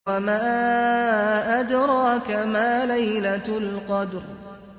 وَمَا أَدْرَاكَ مَا لَيْلَةُ الْقَدْرِ